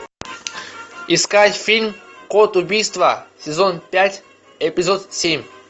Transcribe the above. искать фильм код убийства сезон пять эпизод семь